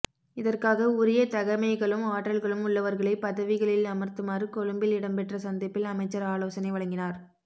இதற்காக உரிய தகைமைகளும் ஆற்றல்களும் உள்ளவர்களை பதவிகளில் அமர்த்துமாறு கொழும்பில் இடம்பெற்ற சந்திப்பில் அமைச்சர் ஆலோசனை வழங்கினார்